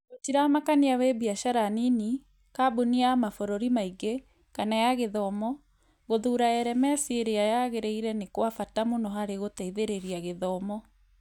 Gũtiramakania wĩ biacara nini, kambuni ya mabũrũri maingĩ, kana ya gĩthomo, gũthuura LMS ĩrĩa yagĩrĩire nĩ kwa bata mũno harĩ gũteithĩrĩria gĩthomo